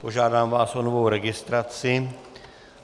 Požádám vás o novou registraci.